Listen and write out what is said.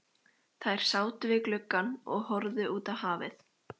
Þær sátu við gluggann og horfðu út á hafið.